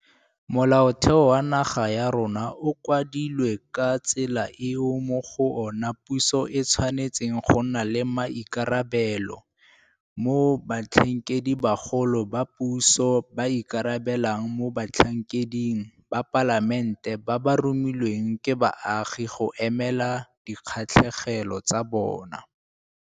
Molaotheo wa naga ya rona o kwadilwe ka tsela eo mo go ona puso e tshwanetseng go nna le maikarabelo, mo Batlhankedibagolo ba puso ba ikarabelang mo batlhankeding ba Palamente ba ba romilweng ke baagi go emela dikgatlhegelo tsa bona.